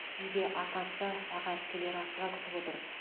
үйде атасы аға әпкелері асыға күтіп отыр